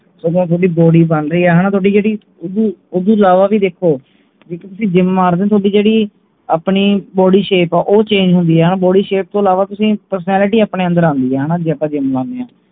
ਓਦੋਂ ਥੋਡੀ body ਬਣ ਰਹੀ ਹੈ ਹਣਾ ਥੋਡੀ ਜਿਹੜੀ ਓਦੂੰ ਅਲਾਵਾ ਵੀ ਦੇਖੋ ਜੇ ਤੁਸੀਂ gym ਮਾਰਦੇ ਹੋ ਥੋਡੀ ਜਿਹੜੀ ਆਪਣੀ ਜਿਹੜੀ body shape ਆ ਉਹ change ਹੁੰਦੀ ਹੈ ਹਣਾ body shape ਤੋਂ ਅਲਾਵਾ ਤੁਸੀਂ personality ਆਪਣੇ ਅੰਦਰ ਆਂਦੀ ਹੈ ਹਣਾ ਜੇ ਆਪਾਂ gym ਲਾਨੇ ਆ